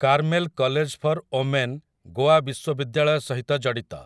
Carmel college for women Goa ବିଶ୍ୱବିଦ୍ୟାଳୟ ସହିତ ଜଡ଼ିତ ।